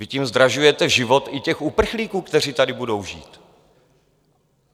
Vy tím zdražujete život i těch uprchlíků, kteří tady budou žít.